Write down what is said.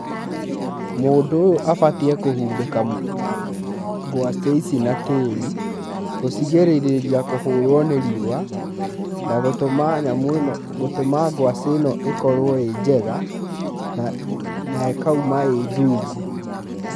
Mũndũ ũyũ abatiĩ kũhumbĩka ngwacĩ ici na tĩri, gũcĩgĩrĩrĩria kũhũrwo nĩ riũa na gũtũma nyamũ ĩno, gũtũma ngwacĩ ĩno ĩkorwo ĩ njega na ĩkauma ĩ ndungu.